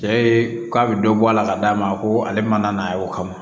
Cɛ ye k'a bɛ dɔ bɔ a la ka d'a ma ko ale mana n'a ye o kama